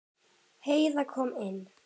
Heiða kom inn.